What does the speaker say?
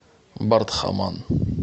бардхаман